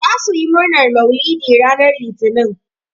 Zasu yi murnan mauluɗi ranan litinin.